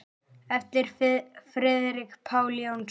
eftir Friðrik Pál Jónsson